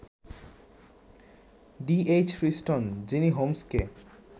D. H. Friston — যিনি হোমসকে